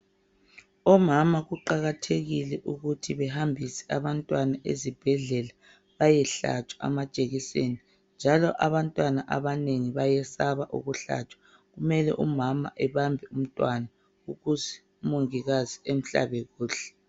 Omama kuqakathekile ukuthi behambise abantwana esibhedlela bayehlatshwa amajekiseni njalo abantwana abanengi bayesaba ukuhlatshwa kumele umama ebambe umntwana ukuze umongikazi amhlabe kuhle.